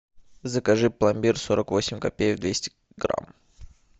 закажи пломбир сорок восемь копеек двести грамм